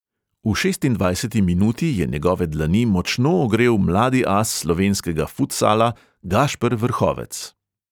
V šestindvajseti minuti je njegove dlani močno ogrel mladi as slovenskega futsala gašper vrhovec.